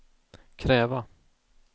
kräva